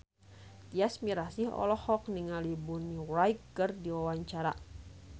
Tyas Mirasih olohok ningali Bonnie Wright keur diwawancara